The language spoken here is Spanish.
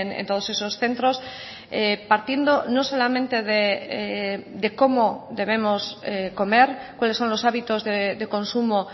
en todos esos centros partiendo no solamente de cómo debemos comer cuáles son los hábitos de consumo